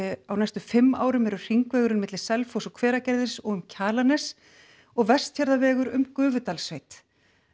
á næstu fimm árum eru hringvegurinn á milli Selfoss og Hveragerðis og um Kjalarnes og Vestfjarðavegur um Gufudalssveit